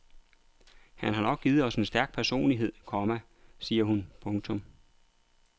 Det har nok givet os en stærk personlighed, komma siger hun. punktum